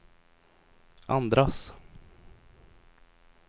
andras